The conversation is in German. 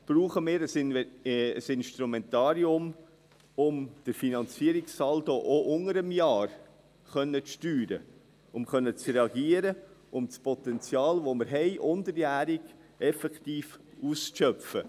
Brauchen wir ein Instrumentarium, um den Finanzierungssaldo auch unter dem Jahr steuern zu können, um reagieren zu können, um das Potenzial, das wir unterjährig haben, effektiv auszuschöpfen?